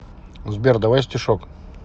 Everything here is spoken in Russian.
сбер давай стишок